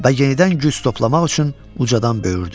Və yenidən güc toplamaq üçün ucadan böyürdü.